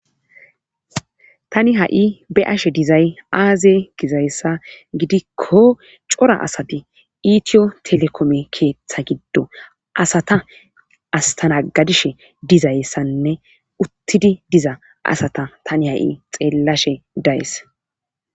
Tani ha'i be ashe dizay aaze gizayssa gidikko cora asati iitiyo telekome keeththa giddo asata astanagadishe dizayssanne uttidi diza asata tani ha'i xeellashe dayes.